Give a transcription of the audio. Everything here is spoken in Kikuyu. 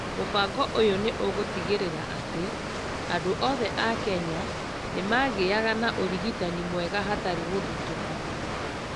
Mũbango ũyũ nĩ ũgũtigĩrĩra atĩ andũ othe a Kenya nĩ magĩaga na ũrigitani mwega hatarĩ mũthutũkanio.